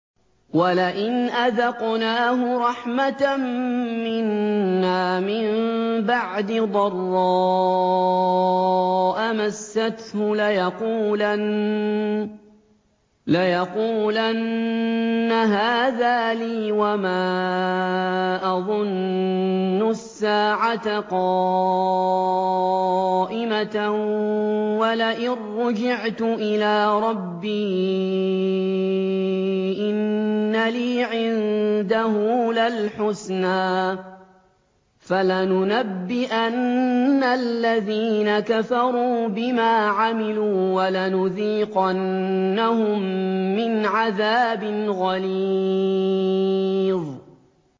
وَلَئِنْ أَذَقْنَاهُ رَحْمَةً مِّنَّا مِن بَعْدِ ضَرَّاءَ مَسَّتْهُ لَيَقُولَنَّ هَٰذَا لِي وَمَا أَظُنُّ السَّاعَةَ قَائِمَةً وَلَئِن رُّجِعْتُ إِلَىٰ رَبِّي إِنَّ لِي عِندَهُ لَلْحُسْنَىٰ ۚ فَلَنُنَبِّئَنَّ الَّذِينَ كَفَرُوا بِمَا عَمِلُوا وَلَنُذِيقَنَّهُم مِّنْ عَذَابٍ غَلِيظٍ